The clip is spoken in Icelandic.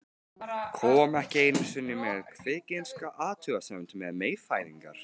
Kom ekki einu sinni með kvikinska athugasemd um meyfæðingar.